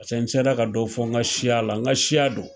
Paseke n sela ka dɔ fɔ n ka siya la. N ka siya don.